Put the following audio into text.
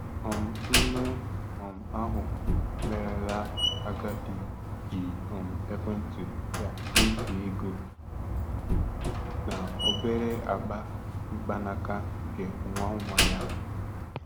um Nne um ahụ merela agadi ji um ekwentị ya nyefee ego na obere akpa mkpanaka nke nwa nwa ya.